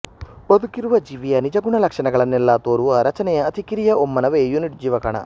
ಬದುಕಿರುವ ಜೀವಿಯ ನಿಜಗುಣ ಲಕ್ಷಣಗಳನ್ನೆಲ್ಲ ತೋರುವ ರಚನೆಯ ಅತಿ ಕಿರಿಯ ಒಮ್ಮಾನವೇ ಯೂನಿಟ್ ಜೀವಕಣ